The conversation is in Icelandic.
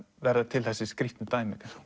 verða til þessi skrýtnu dæmi